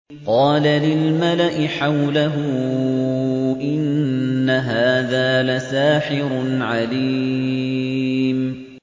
قَالَ لِلْمَلَإِ حَوْلَهُ إِنَّ هَٰذَا لَسَاحِرٌ عَلِيمٌ